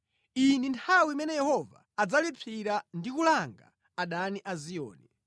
Iyi ndi nthawi imene Yehova adzalipsira ndi kulanga adani a Ziyoni.